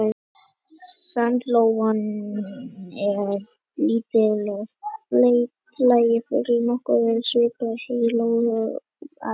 Sandlóan er lítill og feitlaginn fugl nokkuð svipuð heiðlóu að vexti.